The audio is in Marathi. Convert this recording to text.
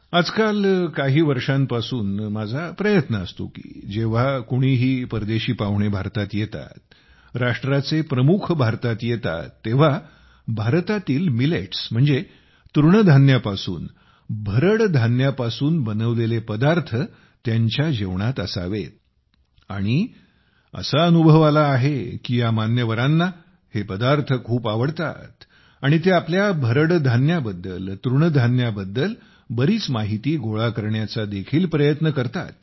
आजकाल काही वर्षांपासून माझ्या प्रयत्न असतो की जेव्हा कोणीही परदेशी पाहुणे भारतात येतात राज्याचे प्रमुख भारतात येतात तेव्हा भारतातील मिलेट्स तृणधान्यापासून भरड धान्यापासून बनवलेले पदार्थ त्यांना देण्यात वाढण्यात यावेत आणि असा अनुभव आला आहे की या मान्यवरांना हे पदार्थ खूप आवडतात आणि ते आपल्या भरडधान्याबद्दल तृणधान्याबद्दल बरीच माहिती गोळा करण्याचा देखील प्रयत्न करतात